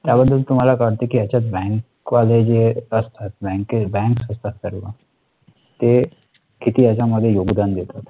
त्या बद्दल तुम्हाला काय वाटते कि यांच्यात bank असतात bank असतात ते. ते किती याच्यामध्ये योगदान देतात